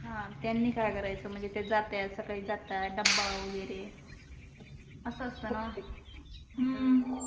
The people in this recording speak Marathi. हा त्यांनी काय कराच म्हणजे ते जाते सकाळी डब्बा वगरे अस अस्त न हम्म